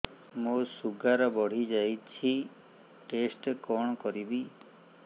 ମୋର ଶୁଗାର ବଢିଯାଇଛି ଟେଷ୍ଟ କଣ କରିବି